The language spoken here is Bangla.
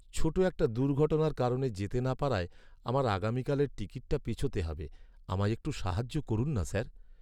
ছোট একট দুর্ঘটনার কারণে যেতে না পারায় আমার আগামীকালের টিকিটটা পেছোতে হবে। আমায় একটু সাহায্য করুন না, স্যার।